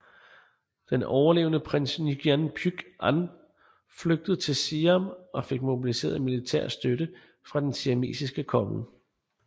Den overlevende prins Nguyễn Phúc Anh flygtede til Siam og fik mobiliseret militær støtte fra den siamesiske konge